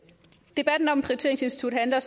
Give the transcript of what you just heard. debatten om prioriteringsinstituttet handler